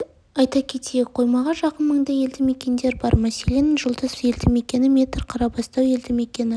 айта кетейік қоймаға жақын маңда елді мекендер бар мәселен жұлдыз елді мекені метр қарабастау елді мекені